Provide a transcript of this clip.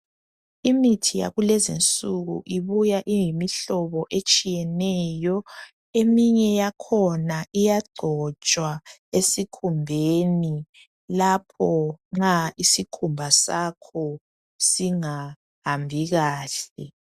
Imithi yakulezi nsuku ibuya iyimihlobo etshiyeneyo eminye yakhona iyangcotswa esikhumbeni lapho nxa isikhumba zakho singahambi kahle